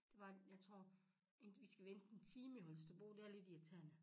Det var jeg tror vi skal vente en time i Holsterbro det er lidt irriterende